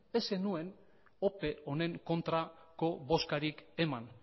ez zenuen ope honen kontrako bozkarik eman